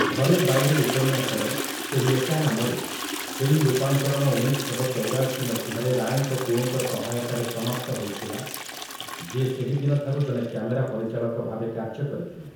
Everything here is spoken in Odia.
ଘରେ ବାଇରେ' ଉପନ୍ୟାସର, ସେହି ଏକା ନାମରେ, ଫିଲ୍ମ ରୂପାନ୍ତରଣ ଉଣେଇଶ ଶହ ଚଉରାଶି ମସିହାରେ ରାୟଙ୍କ ପୁଅଙ୍କ ସହାୟତାରେ ସମାପ୍ତ ହୋଇଥିଲା, ଯିଏ ସେହିଦିନଠାରୁ ଜଣେ କ୍ୟାମେରା ପରିଚାଳକ ଭାବେ କାର୍ଯ୍ୟ କରିଥିଲେ ।